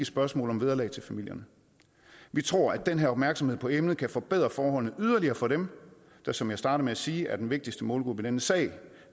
spørgsmål om vederlag til familierne vi tror at den her opmærksomhed på emnet kan forbedre forholdene yderligere for dem der som jeg startede med at sige er den vigtigste målgruppe i denne sag